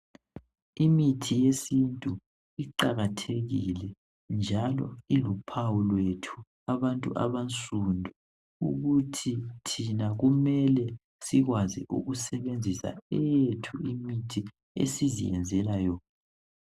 Imithi yesintu iqakathekile njalo iluphawu lwethu abantu abansundu ukuthi thina kumele sikwazi ukusebenzisa eyethu imithi esiziyenzela yona.